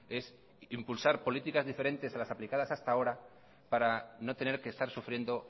es impulsar políticas diferentes a las aplicadas hasta ahora para no tener que estar sufriendo